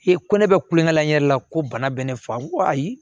E ko ne bɛ kulonkɛ la n yɛrɛ la ko bana bɛ ne fa ko ayi